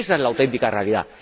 Ésa es la auténtica realidad.